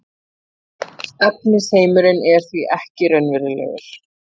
efnisheimurinn er því ekki raunverulegur